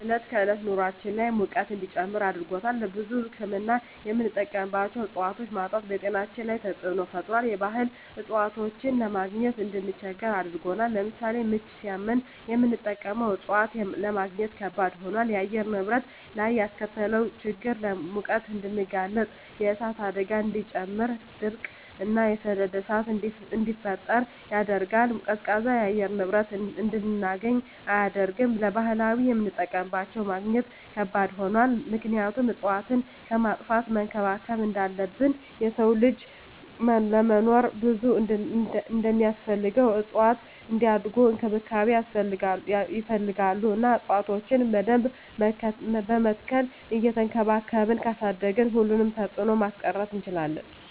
የዕለት ከዕለት ኑራችን ላይ ሙቀት እንዲጨምር አድርጎታል። ለብዙ ህክምና የምንጠቀማቸው እፅዋቶች ማጣት በጤናችን ላይ ተፅዕኖ ፈጥሯል የባህል እፅዋቶችን ለማግኘት እንድንቸገር አድርጎናል። ለምሳሌ ምች ሳመን የምንጠቀመው እፅዋት ለማግኘት ከበድ ሆኗል። በአየር ንብረት ላይ ያስከተለው ችግር ለሙቀት እንድንጋለጥ የእሳት አደጋን እንዲጨምር ድርቅ እና የሰደድ እሳትን እንዲፈጠር ያደርጋል። ቀዝቃዛ የአየር ንብረት እንድናገኝ አያደርግም። ለባህላዊ የምጠቀምባቸው ለማግኘት ከባድ ሆኗል ምክንያቱም እፅዋትን ከማጥፋት መንከባከብ እንዳለብን የሰው ልጅ ለመኖር ብዙ እንደማስፈልገው እፅዋትም እንዲያድጉ እንክብካቤ ይፈልጋሉ እና እፅዋቶችን በደንብ በመትከል እየቸንከባከብን ካሳደግን ሁሉንም ተፅዕኖ ማስቀረት እንችላለን።